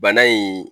Bana in